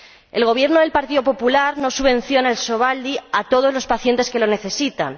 El Gobierno del Partido Popular no subvenciona el Sovaldi a todos los pacientes que lo necesitan.